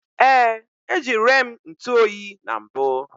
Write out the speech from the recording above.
Ee, ejire m ntụ oyi na mbụ